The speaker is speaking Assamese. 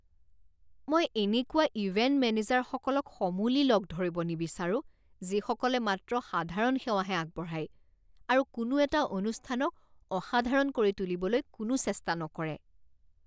মই এনেকুৱা ইভেন্ট মেনেজাৰসকলক সমূলি লগ ধৰিব নিবিচাৰোঁ যিসকলে মাত্ৰ সাধাৰণ সেৱাহে আগবঢ়ায় আৰু কোনো এটা অনুষ্ঠানক অসাধাৰণ কৰি তুলিবলৈ কোনো চেষ্টা নকৰে।